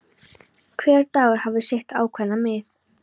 Hver dagur hafði sitt ákveðna mið.